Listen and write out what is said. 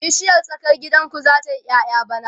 bishiyar tsakar gidan ku zata yi ƴaƴa bana?